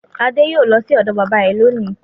Adé yóò lọ sí ọ̀dọ̀ bábà rẹ̀ lónìí.